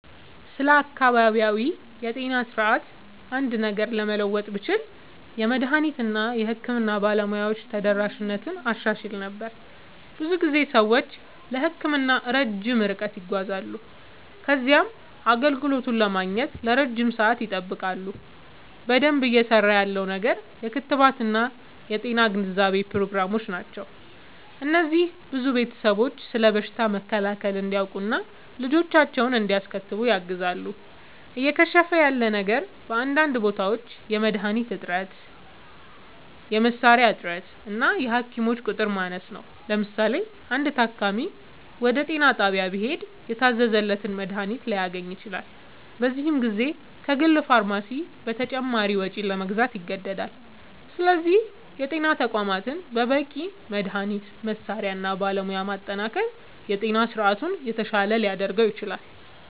ስለ አካባቢያዊ የጤና ስርዓት አንድ ነገር ለመለወጥ ብችል፣ የመድኃኒት እና የሕክምና ባለሙያዎች ተደራሽነትን አሻሽል ነበር። ብዙ ጊዜ ሰዎች ለሕክምና ረጅም ርቀት ይጓዛሉ ከዚያም አገልግሎቱን ለማግኘት ለረጅም ሰዓት ይጠብቃሉ። በደንብ እየሠራ ያለው ነገር የክትባት እና የጤና ግንዛቤ ፕሮግራሞች ናቸው። እነዚህ ብዙ ቤተሰቦች ስለ በሽታ መከላከል እንዲያውቁ እና ልጆቻቸውን እንዲያስከትቡ ያግዛሉ። እየከሸፈ ያለ ነገር በአንዳንድ ቦታዎች የመድኃኒት እጥረት፣ የመሣሪያ እጥረት እና የሐኪሞች ቁጥር ማነስ ነው። ለምሳሌ፣ አንድ ታካሚ ወደ ጤና ጣቢያ ቢሄድ የታዘዘለትን መድኃኒት ላያገኝ ይችላል፤ በዚህ ጊዜ ከግል ፋርማሲ በተጨማሪ ወጪ ለመግዛት ይገደዳል። ስለዚህ የጤና ተቋማትን በበቂ መድኃኒት፣ መሣሪያ እና ባለሙያ ማጠናከር የጤና ስርዓቱን የተሻለ ሊያደርገው ይችላል።